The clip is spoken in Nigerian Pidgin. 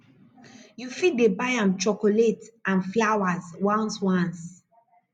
yu fit dey buy am chokolet nd flawas ones ones